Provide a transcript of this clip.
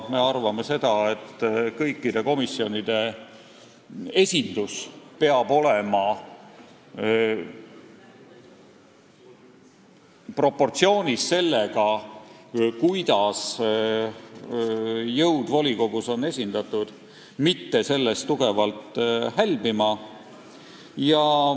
Me arvame, et esindatus komisjonides peab olema proportsioonis sellega, kuidas on volikogus esindatud poliitilised jõud, ta ei peaks sellest tugevalt hälbima.